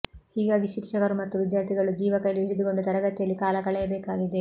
ಹೀಗಾಗಿ ಶಿಕ್ಷಕರು ಮತ್ತು ವಿದ್ಯಾರ್ಥಿಗಳು ಜೀವ ಕೈಲಿ ಹಿಡಿದುಕೊಂಡು ತರಗತಿಯಲ್ಲಿ ಕಾಲ ಕಳೆಯಬೇಕಾಗಿದೆ